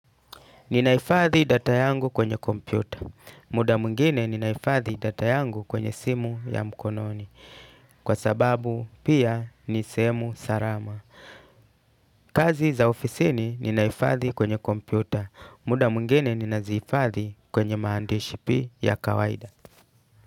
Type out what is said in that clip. Ninahifadhi data yangu kwenye kompyuta. Muda mwingine ninahifadhi data yangu kwenye simu ya mkononi. Kwa sababu pia ni sehemu salama. Kazi za ofisini ninahifadhi kwenye kompyuta. Muda mwingine ninazihifadhi kwenye maandishi ya kawaida.